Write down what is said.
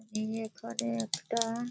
এই এখানে একটা --